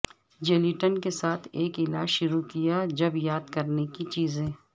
gelatine کے ساتھ ایک علاج شروع کیا جب یاد کرنے کی چیزیں